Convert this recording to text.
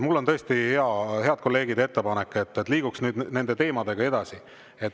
Mul on tõesti, head kolleegid, ettepanek: liigume nüüd nende teemadega edasi.